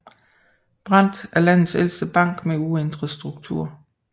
Brandt og er landets ældste bank med uændret struktur